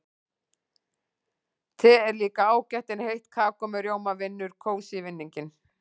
Te er líka ágætt en heitt kakó með rjóma vinnur kósí-vinninginn.